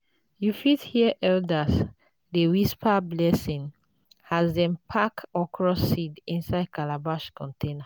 you fit hear elders dey whisper blessing as dem dey pack okra seeds inside calabash container.